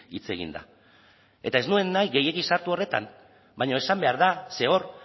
hitz egin da eta ez nuen nahi gehiegi sartu horretan baina esan behar da ze hor